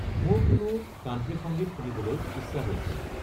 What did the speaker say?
মোৰ কোনো কান্ট্ৰী সংগীত শুনিবলৈ ইচ্ছা হৈছে